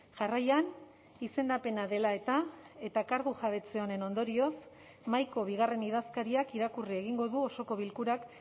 jarraian izendapena dela eta eta kargu jabetze honen ondorioz mahaiko bigarren idazkariak irakurri egingo du osoko bilkurak